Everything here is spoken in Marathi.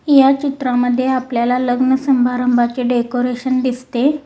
या चित्रामध्ये आपल्याला लग्न संभारंभाचे डेकोरेशन दिसते.